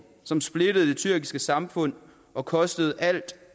som splittede det tyrkiske samfund og kostede alt